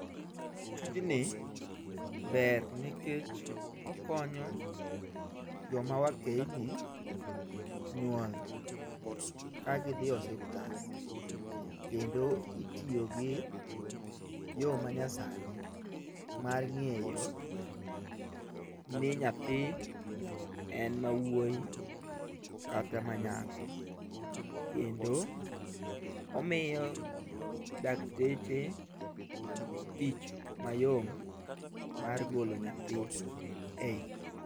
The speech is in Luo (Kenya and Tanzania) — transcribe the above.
Tijni ber nikech okonyo joma wakeyni nyuol ka gidhi osiptal. Kendo itiyo gi yo manyasani mar ng'eyo ni nyathi en ma wuoyi kata ma nyako. Kendo omiyo dakteche tich mayom mar golo nyathi e ich.